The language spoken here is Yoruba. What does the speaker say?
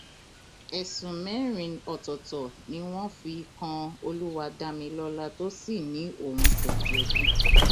ẹsùn mẹrin ọtọọtọ ni wọn fi kan olúwadámilọlá tó sì ní òun kò jẹbi